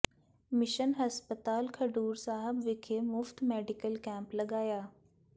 mission ਹਸਪਤਾਲ ਖਡੂਰ ਸਾਹਿਬ ਵਿਖੇ ਮੁਫ਼ਤ ਮੈਡੀਕਲ ਕੈਂਪ ਲਗਾਇਆ